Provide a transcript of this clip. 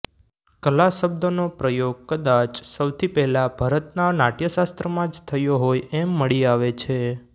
કલા શબ્દનો પ્રયોગ કદાચ સૌથી પહેલાં ભરતના નાટ્યશાસ્ત્રમાં જ થયો હોય એમ મળી આવે છે